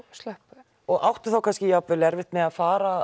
slöpp og áttu þá kannski erfitt með að fara